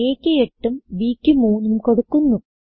aക്ക് 8ഉം b ക്ക് 3ഉം കൊടുക്കുന്നു